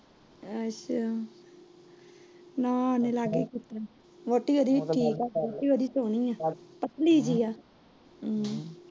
ਵੋਹਟੀ ਉਹਂਦੀ ਠੀਕ ਆ, ਵੋਹਟੀ ਉਹਂਦੀ ਸਹੀ ਏ ਪਤਲੀ ਜਾਹਿ ਏ।